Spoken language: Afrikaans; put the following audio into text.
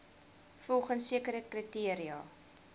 volgens sekere kriteria